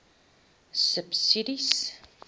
subsidies